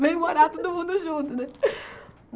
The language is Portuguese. Vem morar todo mundo junto, né?